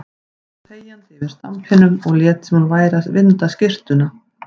Hún stóð þegjandi yfir stampinum og lét sem hún væri að vinda skyrtuna.